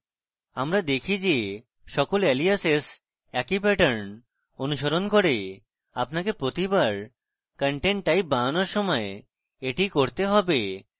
আমরা দেখি যে সকল aliases একই pattern অনুসরণ করে আপনাকে প্রতিবার content type বানানোর সময় এটি করতে have